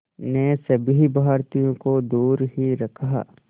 ने सभी भारतीयों को दूर ही रखा